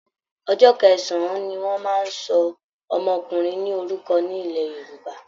Ọjọ́ kẹsàn-án ni wọ́n máa ń sọ ọmọkùnrin ní orúkọ ní ilẹ̀ Yorùbá